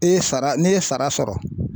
E ye sara ne ye sara sɔrɔ